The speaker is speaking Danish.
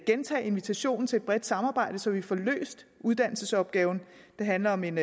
gentage invitationen til et bredt samarbejde så vi får løst uddannelsesopgaven det handler om en